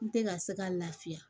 N tɛ ka se ka lafiya